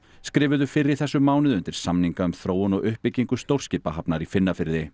skrifuðu fyrr í þessum mánuði undir samninga um þróun og uppbyggingu stórskipahafnar í